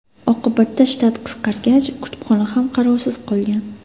Oqibatda shtat qisqargach, kutubxona ham qarovsiz qolgan.